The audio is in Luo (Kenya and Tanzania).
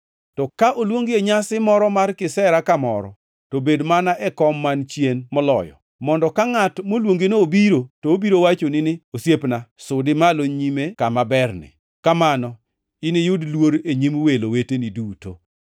To ka oluongi e nyasi moro mar kisera kamoro to bed mana e kom man chien moloyo, mondo ka ngʼat moluongino obiro to obiro wachoni ni, ‘Osiepna, sudi malo nyime kama berni!’ Kamano iniyud luor e nyim welo weteni duto.